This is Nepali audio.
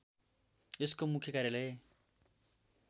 यस्को मुख्य कार्यालय